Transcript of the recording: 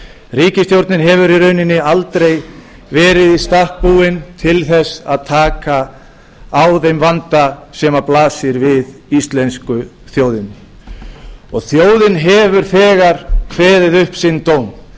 ríkisstjórnin hefur í rauninni aldrei verið í stakk búin til þess að taka á þeim vanda sem blasir við íslensku þjóðinni þjóðin hefur þegar kveðið upp sinn dóm